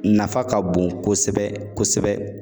Nafa ka bon kosɛbɛ kosɛbɛ.